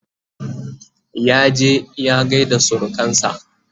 ya je ya gaida surukansa